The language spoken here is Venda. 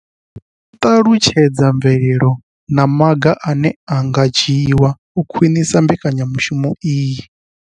I ṱalutshedza mvelelo na maga ane a nga dzhiwa u khwinisa mbekanyamushumo iyi.